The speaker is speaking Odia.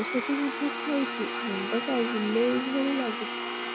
ଔଷଧ ମଧ୍ୟ ଖାଉଛି ମୁଣ୍ଡ ଟା ବୁଲାଇବା ଭଳି ଲାଗୁଛି